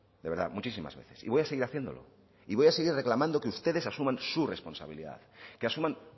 de verdad muchísimas veces y voy a seguir haciéndolo y voy a seguir reclamando que ustedes asuman sus responsabilidad que asuman